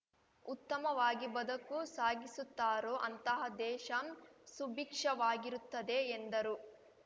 ಉತ್ತಮವಾಗಿ ಬದುಕು ಸಾಗಿಸುತ್ತಾರೋ ಅಂತಹ ದೇಶ ಸುಭೀಕ್ಷವಾಗಿರುತ್ತದೆ ಎಂದರು